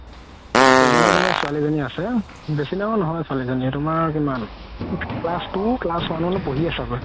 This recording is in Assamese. ছোৱালি এজনি আছে বেছি ডাঙৰ নহয় ছোৱালি জনি তুমাৰ কিমান class two class one মানত পঢ়ি আছে ছাগে